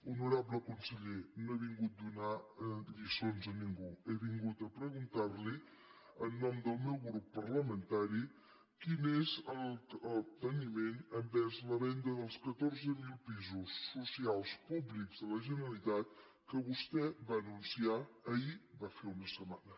honorable conseller no he vingut a donar lliçons a ningú he vingut a preguntar li en nom del meu grup parlamentari quin és el capteniment envers la venda dels catorze mil pisos socials públics de la generalitat que vostè va anunciar ahir va fer una setmana